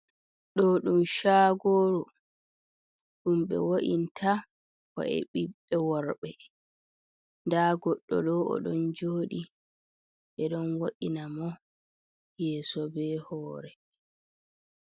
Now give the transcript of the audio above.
Do ɗum shagoru ɗum be wa’inta ko e ɓiɓɓe worɓe, da goɗɗo do o don jodi be ɗon woɗina mo yeeso, be hore.